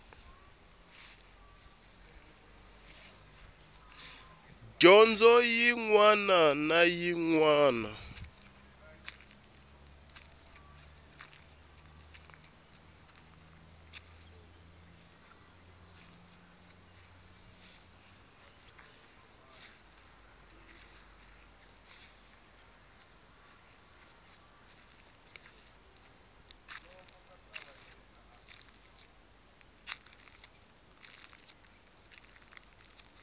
dyondzo yin wana na yin